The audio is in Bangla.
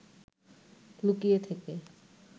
লুকিয়ে থেকে